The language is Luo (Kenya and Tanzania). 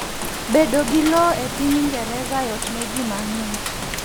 Bedo gi lowo epiny Ingereza yot ne ji mang'eny.